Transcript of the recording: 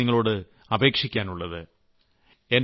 ഇതാണ് എനിക്ക് നിങ്ങളോട് അപേക്ഷിക്കാനുള്ളത്